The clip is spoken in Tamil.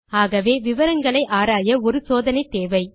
ஆகவே விவரங்களை ஆராய ஒரு சோதனை தேவை